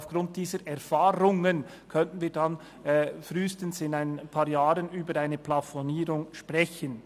Aufgrund dieser Erfahrungen können wir frühestens in ein paar Jahren über eine Plafonierung sprechen.